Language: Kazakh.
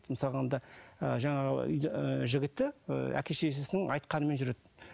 мысалы алғанда ы жаңағы ыыы жігіті ыыы әке шешесінің айтқанымен жүреді